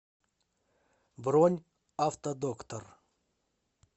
бронь автодоктор